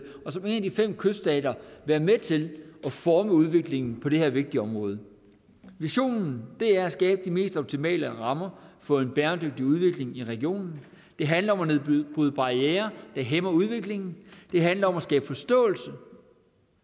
og som en af de fem kyststater være med til at forme udviklingen på det her vigtige område visionen er at skabe de mest optimale rammer for en bæredygtig udvikling i regionen det handler om at nedbryde barrierer der hæmmer udviklingen det handler om at skabe forståelse